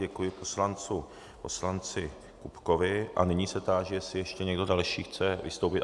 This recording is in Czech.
Děkuji poslanci Kupkovi a nyní se táži, jestli ještě někdo další chce vystoupit.